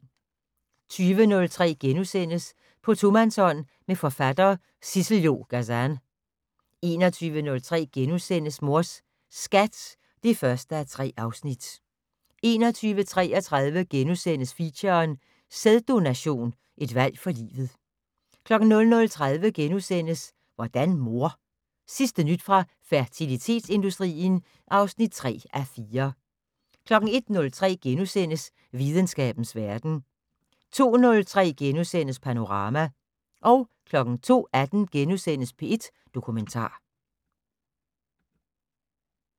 20:03: På tomandshånd med forfatter Sissel-Jo Gazan * 21:03: Mors Skat (1:3)* 21:33: Feature: Sæddononation, et valg for livet * 00:30: Hvordan mor? Sidste nyt fra fertilitetsindustrien (3:4)* 01:03: Videnskabens verden * 02:03: Panorama * 02:18: P1 Dokumentar *